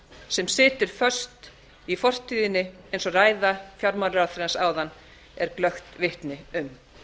sem situr föst í fortíðinni eins og ræða fjármálaráðherrans áðan er glöggt vitni um